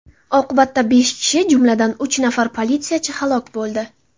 Oqibatda besh kishi, jumladan, uch nafar politsiyachi halok bo‘ldi.